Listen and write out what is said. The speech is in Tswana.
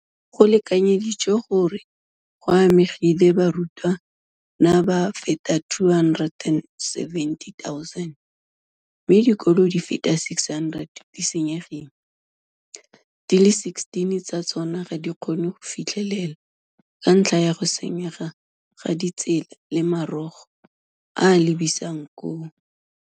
Go lekanyeditswe gore go amegile barutwana ba feta 270 000, mme dikolo di feta 600 di senyegile, di le 16 tsa tsona ga di kgone go fitlhelelwa ka ntlha ya go senyega ga ditsela le maborogo a a lebisang koo.